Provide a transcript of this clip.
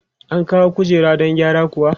An kawo kujera don gyara kuwa?